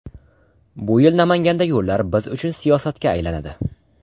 Bu yil Namanganda yo‘llar biz uchun siyosatga aylanadi.